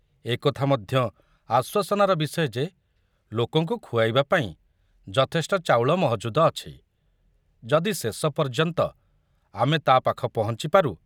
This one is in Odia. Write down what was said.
ଏକଥା ମଧ୍ୟ ଆଶ୍ବାସନାର ବିଷୟ ଯେ ଲୋକଙ୍କୁ ଖୁଆଇବା ପାଇଁ ଯଥେଷ୍ଟ ଚାଉଳ ମହଜୁଦ ଅଛି, ଯଦି ଶେଷ ପର୍ଯ୍ୟନ୍ତ ଆମେ ତା ପାଖ ପହଞ୍ଚିପାରୁ।